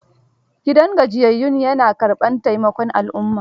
Gidan gajiyayyun ya na karɓar taimakon al'umma.